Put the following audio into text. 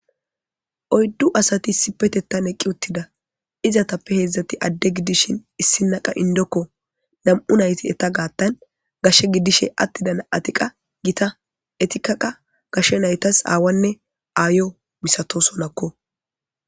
oyddu asati sipetettan eqqi uttida izatappe heedzdzati adde gidishin issinaqa indokko nam7u nayti eta gaattan gashshe gidishe attidana7atiqa gita etikaqa gashshe naytas aawanne aayo misato sonakko